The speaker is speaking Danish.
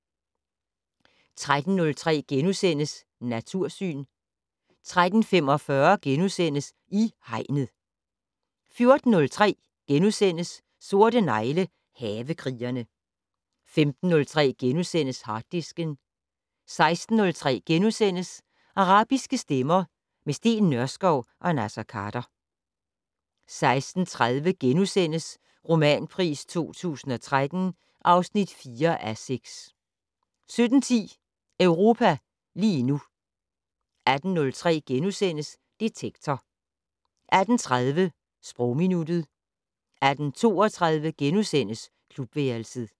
13:03: Natursyn * 13:45: I Hegnet * 14:03: Sorte negle: Havekrigerne * 15:03: Harddisken * 16:03: Arabiske stemmer - med Steen Nørskov og Naser Khader * 16:30: Romanpris 2013 (4:6)* 17:10: Europa lige nu 18:03: Detektor * 18:30: Sprogminuttet 18:32: Klubværelset *